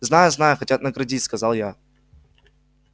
знаю знаю хотят наградить сказал я